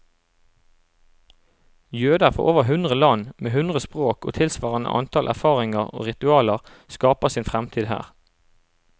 Jøder fra over hundre land, med hundre språk og tilsvarende antall erfaringer og ritualer, skaper sin fremtid her.